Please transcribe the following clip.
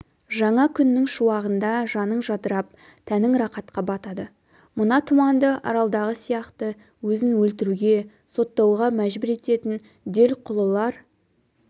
жаңа күннің шуағында жаның жадырап тәнің рақатқа батады мына тұманды аралдағы сияқты өзін өлтіруге соттауға мәжбүр ететін делқұлылар